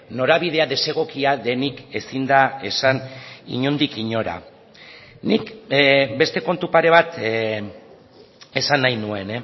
norabidea desegokia denik ezin da esan inondik inora nik beste kontu pare bat esan nahi nuen